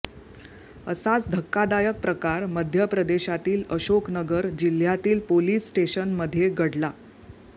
असाच धक्कादायक प्रकार मध्य प्रदेशातील अशोक नगर जिल्ह्यातील पोलीस स्टेशनमध्ये घडला